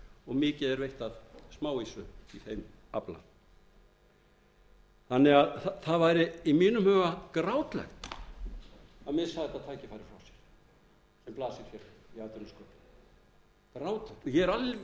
og mikið er veitt af smáýsu í þeim afla það væri í mínum huga grátlegt að missa þetta tækifæri frá sér sem blasir við í atvinnusköpun og ég er